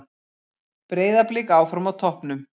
Breiðablik áfram á toppnum